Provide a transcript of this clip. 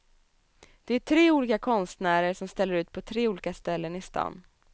Det är tre olika konstnärer som ställer ut på tre olika ställen i stan.